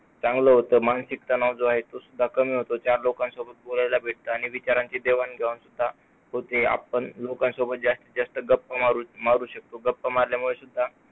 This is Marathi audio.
चांगलं होतं. मानसिक तणाव जो आहे तो कमी होतो. चार लोकांसोबत बोलायला लागल्यामुळे विचारांची देवाणघेवाण होते. आपण लोकांसोबत जास्तीत जास्त गप्पा मारू शकतो. गप्पा मारल्यामुळे